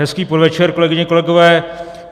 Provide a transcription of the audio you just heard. Hezký podvečer, kolegyně, kolegové.